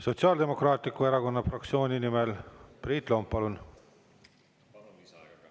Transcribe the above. Sotsiaaldemokraatliku Erakonna fraktsiooni nimel Priit Lomp, palun!